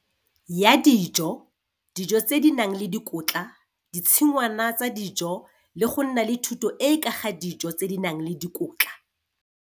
Ya dijo, dijo tse di nang le dikotla, ditshingwana tsa dijo le go nna le thuto e e ka ga dijo tse di nang le dikotla.